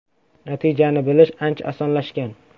Natijani bilish ancha osonlashgan.